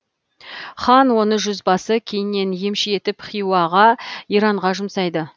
хан оны жүзбасы кейіннен емші етіп хиуаға иранға жұмсайды